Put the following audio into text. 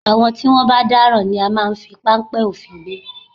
Àwọn tí wọ́n bá dáràn ni a máa ń fi páńpẹ́ òfin gbé